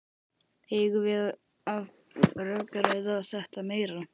Eigum við að rökræða þetta meira?